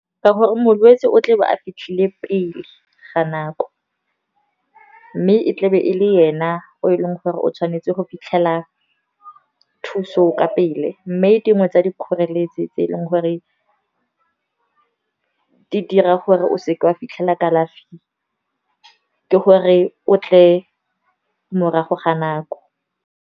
Ka gore molwetsi o tlebe a fitlhile pele ga nako, mme e tlabe e le ena o e leng gore o tshwanetse go fitlhela thuso ka pele. Mme dingwe tsa dikgoreletsi tse eleng gore di dira gore o seke wa fitlhelela kalafi ke gore o tle morago ga nako.